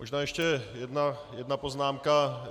Možná ještě jedna poznámka.